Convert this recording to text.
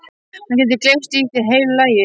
Hann gæti gleypt þig í heilu lagi.